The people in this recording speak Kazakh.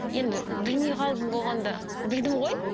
енді білмей қалдым болғанда білдім ғой